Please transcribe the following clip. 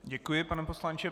Děkuji, pane poslanče.